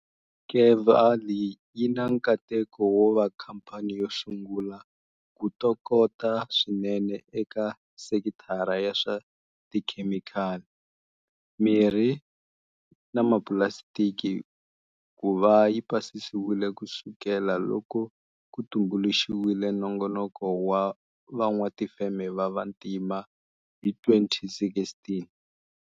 Kevali yi na nkateko wo va khampani yo sungula ku tokota swinene eka sekithara ya swa tikhemikhali, mirhi na mapulasitiki ku va yi pasisiwile ku sukela loko ku tumbuluxiwile Nongonoko wa Van'watifeme va Vantima hi 2016.